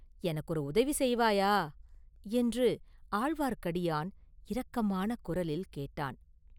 எனக்கு ஒரு உதவி செய்வாயா?” என்று ஆழ்வார்க்கடியான் இரக்கமான குரலில் கேட்டான்.